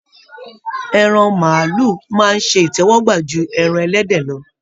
Ẹran màálù máa ṣe ìtẹ́wọ́gbà ju ẹran ẹlẹ́dẹ̀ lọ.